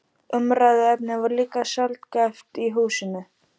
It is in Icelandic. Umræðuefnið var líka sjaldgæft í húsinu.